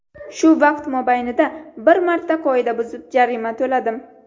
Shu vaqt mobaynida bir marta qoida buzib, jarima to‘ladim.